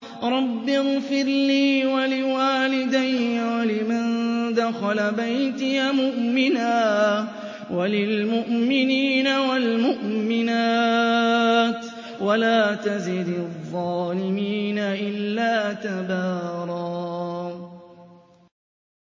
رَّبِّ اغْفِرْ لِي وَلِوَالِدَيَّ وَلِمَن دَخَلَ بَيْتِيَ مُؤْمِنًا وَلِلْمُؤْمِنِينَ وَالْمُؤْمِنَاتِ وَلَا تَزِدِ الظَّالِمِينَ إِلَّا تَبَارًا